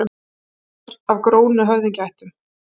Kona hans var af grónum höfðingjaættum.